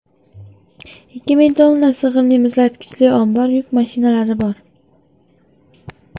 Ikki ming tonna sig‘imli muzlatkichli ombor, yuk mashinalari bor.